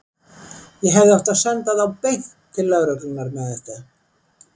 Ég hefði átt að senda þá beint til lögreglunnar með þetta.